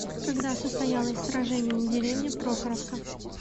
когда состоялось сражение у деревни прохоровка